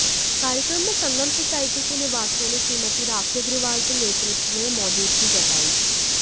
कार्यक्रम में संगम सोसायटी के निवासियों ने श्रीमती राखी अग्रवाल के नेतृत्व में मौजूदगी जताई